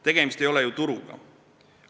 Tegemist ei ole ju turuga.